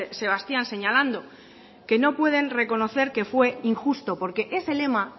sebastián señalando que no pueden reconocer que fue injusto porque ese lema